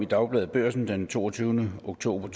dagbladet børsen den toogtyvende oktober